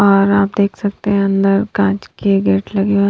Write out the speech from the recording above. और आप देख सकते हैं अंदर कांच कि गेट लगे हुए--